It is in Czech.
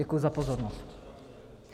Děkuji za pozornost.